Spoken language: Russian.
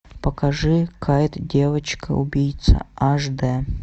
покажи кайт девочка убийца аш д